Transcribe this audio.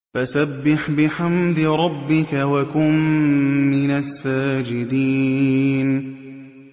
فَسَبِّحْ بِحَمْدِ رَبِّكَ وَكُن مِّنَ السَّاجِدِينَ